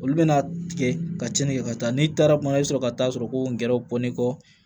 Olu bɛna tigɛ ka cɛnni kɛ ka taa n'i taara kuma i bɛ sɔrɔ ka taa sɔrɔ ko n gɛrɛw bɔlen kɔ